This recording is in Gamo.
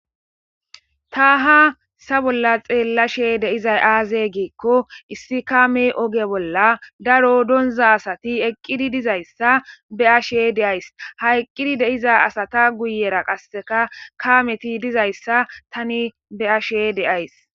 Taaha sa bolla xeella she deizay aaze giikko issi kaame oge bolla daro donza asati eqqidi dizayssa be ashe deays ha eqqidi deiza asata guyera qasseka kaameti dizayssa tani be ashe deays